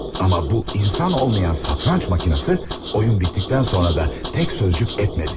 Amma bu insan olmayan şahmat maşını oyun bitdikdən sonra da tək söz belə demədi.